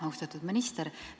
Austatud minister!